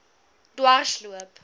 dwarsloop